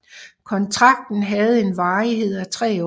Kontrakten havde en varighed af tre år